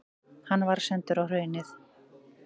Hann var sendur á Hraunið.